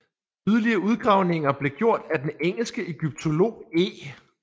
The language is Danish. Yderligere udgravninger blev gjort af den engelske egyptolog E